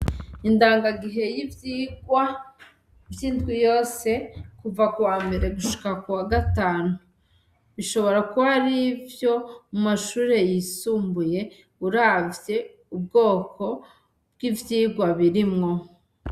Indangagihe y'ivyigwa vy'indwi yose kuva ku wambere gushika ku wa gatanu, bishobora kuba ar'ivyo mu mashure yisumbuye uravye ubwoko bw'ivyirwa birimwo.